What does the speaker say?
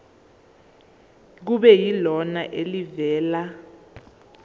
kube yilona elivela